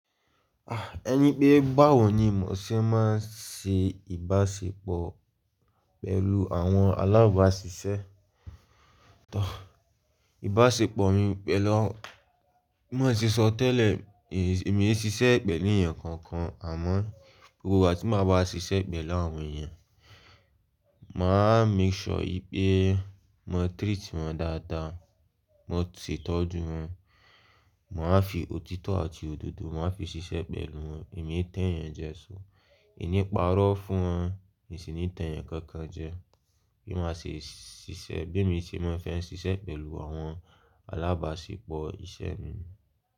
Ah! Ẹni pé bá wọ̀ ní mo ṣe máa ń ṣe ìbáṣepọ̀ pẹ̀lú àwọn alábáṣiṣẹ́. Tọ́, ìbáṣepọ̀ mi pẹ̀lú, bí mo ṣe sọ tẹ́lẹ̀ èmi e ṣe iṣẹ́ pẹ̀lú ènìyàn kankan àmọ́ gbogbo ìgbà tí máa bá ṣe iṣẹ́ pẹ̀lú àwọn ènìyàn, màá make sure ìpé mo treat wọn dáadáa, mo sì tọ́jú wọn, màá fi òtítọ́ àti òdodo màá fi ṣe iṣẹ́ pẹ̀lú wọn. Èmi ń tẹ̀yàn jẹ sọ, ìníparọ́ fún wọn sì ni ìtẹ̀yàn kankan jẹ. Bí màá ṣe ṣiṣẹ́ bí èmi ṣe máa fẹ́ ń ṣe iṣẹ́ pẹ̀lú àwọn alábáṣepọ̀ iṣẹ́ mi.